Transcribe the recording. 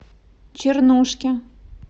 чернушке